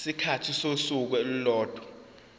isikhathi sosuku olulodwa